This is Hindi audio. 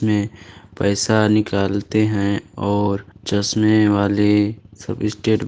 --मे पैसा निकालते हैं और चश्में वाले सब स्टेट --